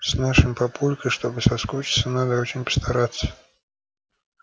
с нашим папулькой чтобы соскучиться надо очень постараться